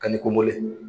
Ka ni ko mɔlen